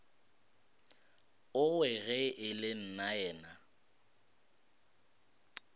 owe ge e le nnaena